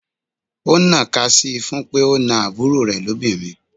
Ó ń ná ka sii fún pé ó na àbúrò rè lobinrin.